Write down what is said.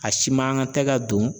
A si man kan tɛ ka don